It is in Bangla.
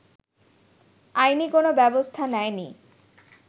আইনি কোন ব্যবস্থা নেয়নি